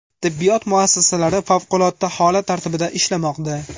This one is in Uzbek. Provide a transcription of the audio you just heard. Tibbiyot muassasalari favqulodda holat tartibida ishlamoqda.